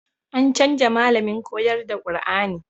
An canja malamin koyar da Kur'ani